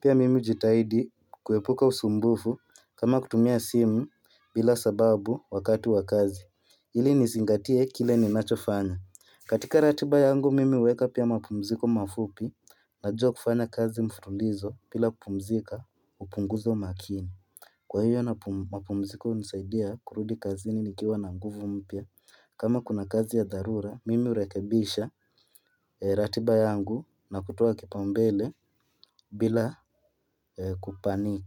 Pia mimi hujitahidi kuepuka usumbufu kama kutumia simu bila sababu wakati wa kazi ili nizingatie kile ninachofanya. Katika ratiba yangu mimi huweka pia mapumziko mafupi. Najua kufanya kazi mfululizo bila kupumzika hupunguza umakini. Kwa hivyo mapumziko hunisaidia kurudi kazini nikiwa na nguvu mpya. Kama kuna kazi ya dharura, mimi hurekibisha ratiba yangu na kutoa kipaumbele bila kupaniki.